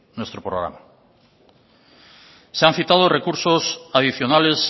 nuestro programa se han citado recursos adicionales